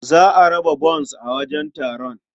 Za a raba bons a wajen taron.